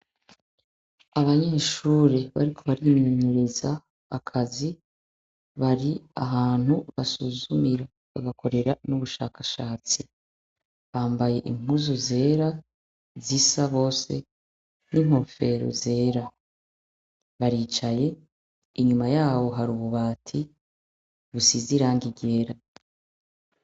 Abanyeshuri bariko bariyemenyereza akazi bari ahantu basuzumira bagakorera n'ubushakashatsi bambaye impuzu zera zisa bose n'inkofero zera baricaye inyuma yabo hari ububati busize irangi ryera.